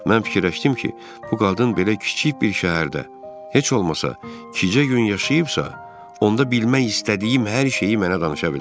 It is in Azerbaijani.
Mən fikirləşdim ki, bu qadın belə kiçik bir şəhərdə heç olmasa kicə gün yaşayıbsa, onda bilmək istədiyim hər şeyi mənə danışa bilər.